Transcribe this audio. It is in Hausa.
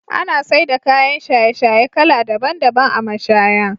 Ana saida kayan shaye-shaye kala daban daban a mashaya.